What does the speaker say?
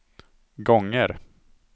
gånger